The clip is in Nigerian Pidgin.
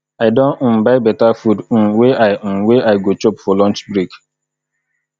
i don um buy beta food um wey i um wey i go chop for lunch break